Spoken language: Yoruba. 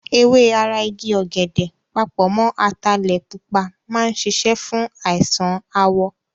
Ewé ara igi ọ̀gẹ̀dẹ̀ papọ̀ mọ́ ataalẹ̀ pupa máa ń ṣiṣẹ́ fún àìsàn àwọ̀.